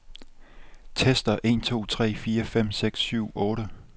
Tester en to tre fire fem seks syv otte.